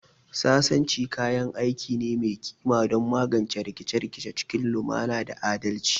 Sasanci kayan aiki ne mai kima don magance rikice-rikice cikin lumana da adalci